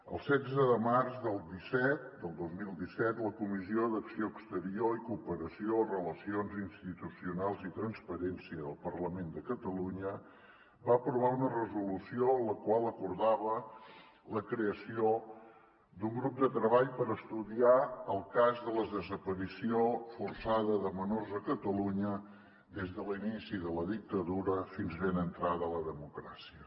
el setze de març del disset del dos mil disset la comissió d’acció exterior i cooperació relacions institucionals i transparència del parlament de catalunya va aprovar una resolució la qual acordava la creació d’un grup de treball per estudiar el cas de la desaparició forçada de menors a catalunya des de l’inici de la dictadura fins ben entrada la democràcia